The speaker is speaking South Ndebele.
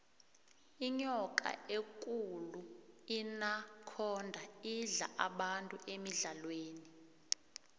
inyoka ekulu inakhonda idla abantu emidlalweni